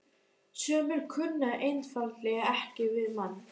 Sumir kunna einfaldlega ekki við mann.